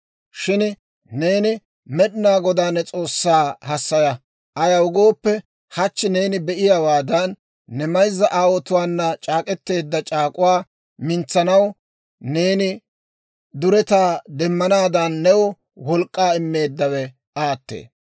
Shin neeni Med'inaa Godaa ne S'oossaa hassaya; ayaw gooppe, hachchi neeni be"iyaawaadan, ne mayzza aawotuwaana c'aak'k'eteedda c'aak'k'uwaa mintsanaw, neeni duretaa demmanaadan new wolk'k'aa immeeddawe aattee.